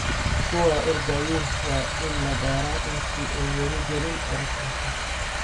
Kuwaa ordhayin waa in labara inti aay wali kalin orotomka.